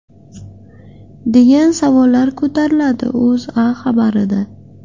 degan savollar ko‘tariladi O‘zA xabari da.